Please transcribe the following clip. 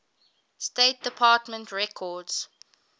state department records